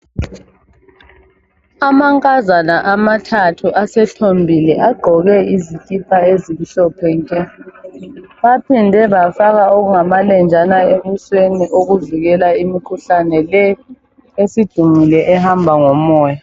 Amankazana amathathu asethombile agqoke izikipa ezimhlophe nke. Baphinde bafaka okungamalenjana ebusweni okuvikela imikhuhlane le esidumile ehamba ngomoya.